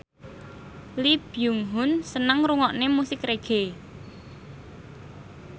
Lee Byung Hun seneng ngrungokne musik reggae